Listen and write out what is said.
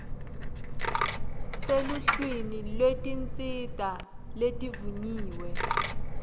seluhlwini lwetinsita letivunyiwe